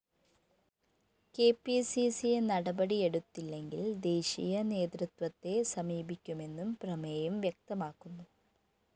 K P C C നടപടിയെടുത്തില്ലെങ്കില്‍ ദേശീയ നേതൃത്വത്തെ സമീപിക്കുമെന്നും പ്രമേയം വ്യക്തമാക്കുന്നു